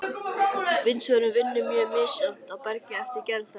Vindsvörfun vinnur mjög misjafnt á bergi eftir gerð þess.